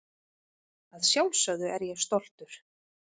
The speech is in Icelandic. Að sjálfsögðu er ég stoltur.